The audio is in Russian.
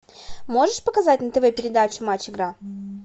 можешь показать на тв передачу матч игра